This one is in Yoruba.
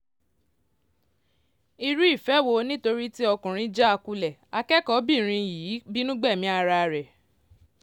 irú ìfẹ́ wo nítorí tí ọkùnrin já a kulẹ̀ akẹ́kọ̀ọ́-bìnrin yìí bínú gbẹ̀mí ara ẹ̀